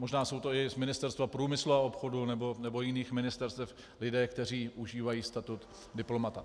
Možná jsou to i z Ministerstva průmyslu a obchodu nebo jiných ministerstev lidé, kteří užívají status diplomata.